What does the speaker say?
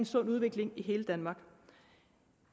sund udvikling i hele danmark